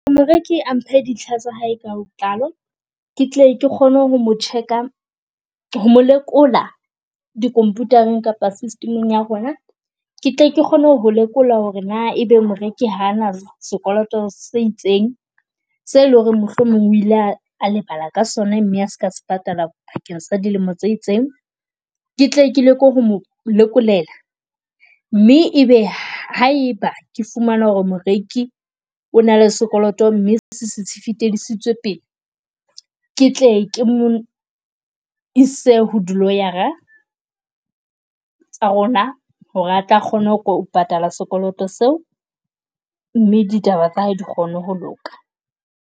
Moreki a mphe dintlha tsa hae ka botlalo, ke tle ke kgone ho mo check-a ho lekola di computer-eng kapa system-eng ya rona. Ke tle ke kgone ho ho lekola ho re na ebe moreki ha ana sekoloto se itseng se e leng h ore mohlomong o ile a, a lebala ka sona mme a ska patala pakeng sa dilemo tse itseng. Ke tle ke leke ho mo lekolela, mme ebe ha e ba ke fumana ho re moreki o na le sekoloto mme se se se fetiseditswe pele. Ke tle ke mo ise ho dilawyer-a tsa rona, ho re a tla kgona ho ho patala sekoloto seo, mme ditaba tsa hae di kgone ho loka.